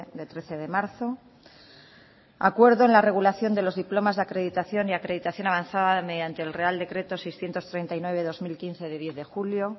de trece de marzo acuerdo en la acreditación de los diplomas de acreditación y acreditación avanzada mediante el real decreto seiscientos treinta y nueve barra dos mil quince del diez de julio